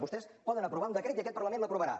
vostès poden aprovar un decret i aquest parlament l’aprovarà